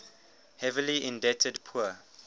heavily indebted poor